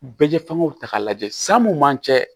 Bɛɛ ye fɛngɛw ta k'a lajɛ san mun man can